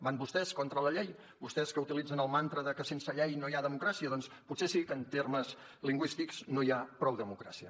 van vostès contra la llei vostès que utilitzen el mantra de que sense llei no hi ha democràcia doncs potser sí que en termes lingüístics no hi ha prou democràcia